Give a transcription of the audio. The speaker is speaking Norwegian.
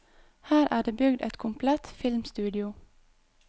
Her er det bygd et komplett filmstudio.